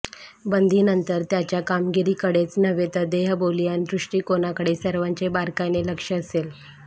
बंदीनंतर त्याच्या कामगिरीकडेच नव्हे तर देहबोली अन् दृष्टिकोनाकडे सर्वांचे बारकाईने लक्ष असेल